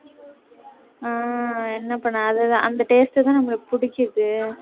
அஹ் என்ன பண்ண அதுதான் அந்த taste தான் நம்மளுக்கு புடிக்குது